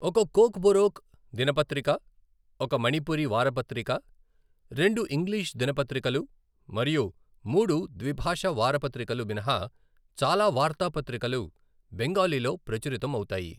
ఒక కోక్బోరోక్ దినపత్రిక, ఒక మణిపురి వారపత్రిక, రెండు ఇంగ్లిష్ దినపత్రికలు మరియు మూడు ద్విభాషా వారపత్రికలు మినహా చాలా వార్తాపత్రికలు బెంగాలీలో ప్రచురితం అవుతాయి.